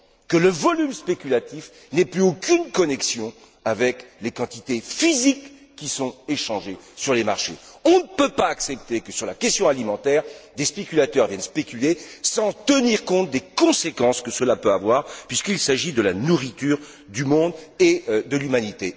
que le volume spéculatif n'ait plus aucune connexion avec les quantités physiques échangées sur les marchés. On ne peut pas accepter, sur la question alimentaire, que des spéculateurs viennent spéculer sans tenir compte des conséquences que cela peut avoir puisqu'il s'agit de la nourriture du monde et de l'humanité.